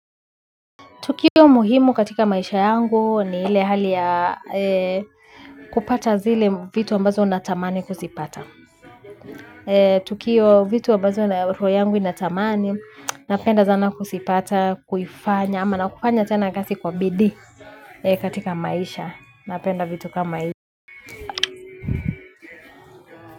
Tukio muhimu katika maisha yangu ni ile hali ya kupata zile vitu ambazo natamani kuzipata. Tukio vitu ambazo roho yangu inatamani, napenda sana kuzipata, kuifanya, ama na kufanya tena kazi kwa bidii katika maisha. Napenda vitu kama hivi.